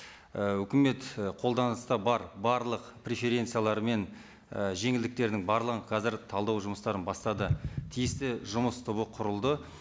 і үкімет і қолданыста бар барлық преференциялар мен і жеңілдіктердің барлығын қазір талдау жұмыстарын бастады тиісті жұмыс тобы құрылды